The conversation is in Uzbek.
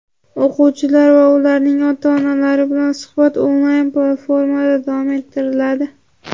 o‘quvchilar va ularning ota-onalari bilan suhbat onlayn platformada davom ettiriladi.